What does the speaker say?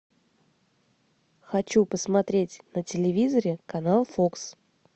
хочу посмотреть на телевизоре канал фокс